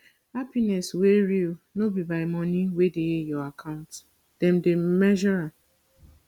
happiness wey real no be by money wey dey your account dem dey measure am